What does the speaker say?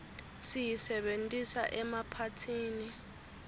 siyisebentisa emaphathini